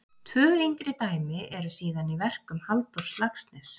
Tvö yngri dæmi eru síðan í verkum Halldórs Laxness.